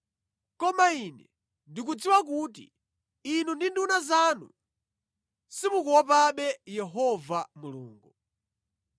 Koma ine ndikudziwa kuti inu ndi nduna zanu simukuopabe Yehova Mulungu.”